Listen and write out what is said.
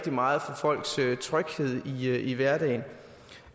meget for folks tryghed i hverdagen